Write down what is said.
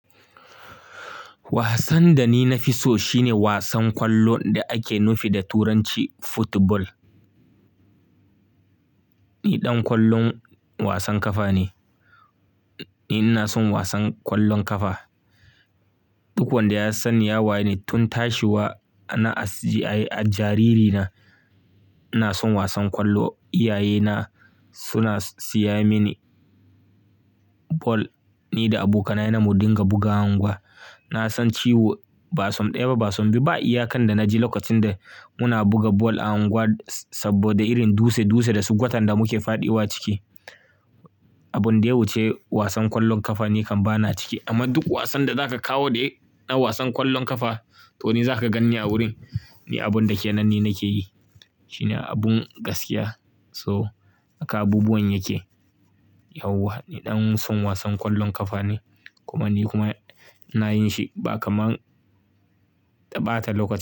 Wasan da ni na fi so shine wasan kwallo da ake nufi da turanci football. Ni ɗan kwallon wasan kafa ne. Ni ina son wasan kwallon kafa. Duk wanda ya san ni ya waye ni tun tashiwa, a na a, jariri na ina son wasan kwallo. Iyaye na suna siya mini ball, ni da abokanaye na mu dinga bugawa a unguwa. Na san ciwo, ba som ɗaya ba, ba som biyu ba Iya kan da na ji lokacin da muna buga ball a unguwar saboda irin dutse dutse da su gwatan da muke faɗiwa a ciki, Abun da ya wuce wasan kwallon kafa ni kan ba na ciki. Amma duk wasan da zaka kawo dai, na wasan kwallon kafa, to ni zaka ganni a wurin. Ni abun da ke nan ni nake yi. Shine abun gaskiya, so haka abubuwan yake. Yauwa ni ɗan son wasan kwallon kafa ne. Kuma ni kuma ina yin shi ba kaman ta ɓata lokaci.